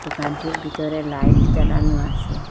দোকানটির ভিতরে লাইট জ্বালানো আসে।